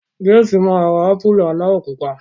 James ma rà ámpùlù aláwọ̀ pupa.